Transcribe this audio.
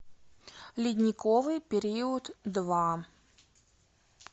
ледниковый период два